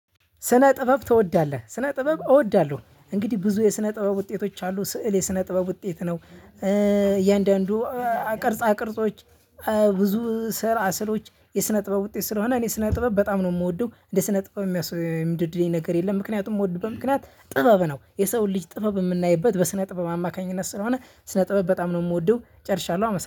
ስነ ጥበብ ትወዳለህ? ስነ ጥበብ እወዳለሁ። እንግዲህ ብዙ የስነ ጥበብ ውጤቶች አሉ ስዕል የስነ ጥበብ ውጤት ነው። እያንዳንዱ ቅርጻቅርጾች ብዙ ስራ ስዕሎች የስነ ጥበብ ውጤት ስለሆነ እኔ ስነ ጥበብ በጣም ነው የምወደው እንደ ስነ ጥበብ የሚያስወድደኝ ነገር የለም። ምክንያቱም የምወድበት ምክንያት ጥበብ ነው የሰውን ልጅ ጥበብ የምናይበት በስነ ጥበብ አማካኝነት ስለሆነ። ስነ ጥበብ በጣም ነው የምወደው ጨርሻለሁ። አመሰግናለሁ